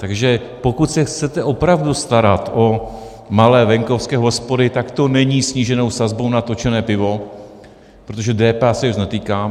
Takže pokud se chcete opravdu starat o malé venkovské hospody, tak to není sníženou sazbou na točené pivo, protože DPH se jich netýká.